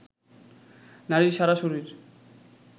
নারীর সারা শরীর